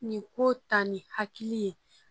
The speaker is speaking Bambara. Nin ko ta ni hakili ye